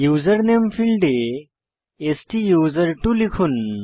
উসের নামে ফীল্ডে স্তুসের্ত্ব লিখুন